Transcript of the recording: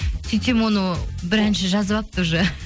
сөйтсем оны бір әнші жазып алыпты уже